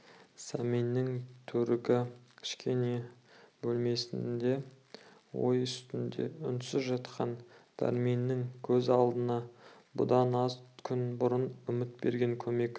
сәменнің төргі кішкене бөлмесінде ой үстінде үнсіз жатқан дәрменнің көз алдына бұдан аз күн бұрын үміт берген көмек